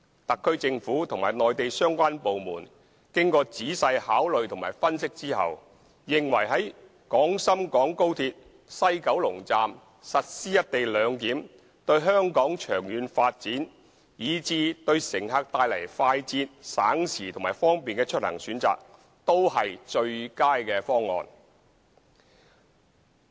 特區政府和內地相關部門經仔細考慮和分析後，認為在廣深港高鐵西九龍站實施"一地兩檢"，對香港長遠發展，以至對乘客帶來快捷、省時和方便的出行選擇都是最佳方案。